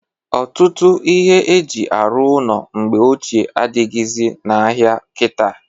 Ọtụtụ ihe e ji arụ ụnọ mgbe ochie adịghịzị n'ahịa kita.